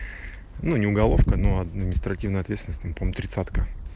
ну не уголовка но административная ответственность там по моему тридцатка